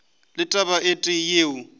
le taba e tee yeo